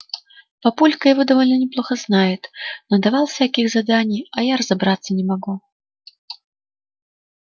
папулька его довольно неплохо знает надавал всяких заданий а я разобраться не могу